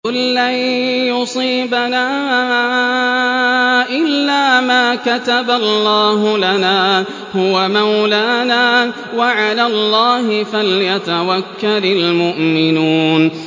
قُل لَّن يُصِيبَنَا إِلَّا مَا كَتَبَ اللَّهُ لَنَا هُوَ مَوْلَانَا ۚ وَعَلَى اللَّهِ فَلْيَتَوَكَّلِ الْمُؤْمِنُونَ